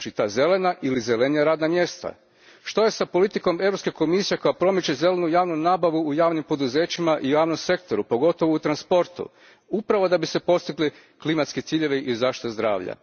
zelena ili zelenija radna mjesta? Što je s politikom Europske komisije koja promiče zelenu javnu nabavu u javnim poduzećima i javnom sektoru, pogotovo u transportu, upravo da bi se postigli klimatski ciljevi i zaštita zdravlja?